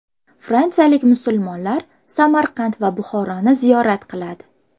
Fransiyalik musulmonlar Samarqand va Buxoroni ziyorat qiladi.